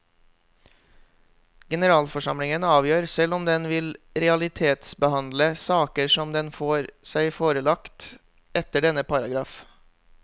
Generalforsamlingen avgjør selv om den vil realitetsbehandle saker som den får seg forelagt etter denne paragraf.